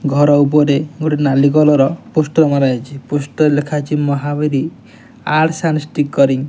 ଘର ଉପରେ ଗୋଟେ ନାଲି କଲର ପୋଷ୍ଟର ମରା ହେଇଛି। ପୋଷ୍ଟର ରେ ଲେଖା ଅଛି ମହାବୀର ଆର୍ଟ୍ସ ଆଣ୍ଡ ଷ୍ଟିକରିଙ୍ଗ ।